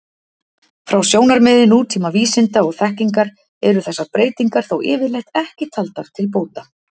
Frá sjónarmiði nútíma vísinda og þekkingar eru þessar breytingar þó yfirleitt ekki taldar til bóta.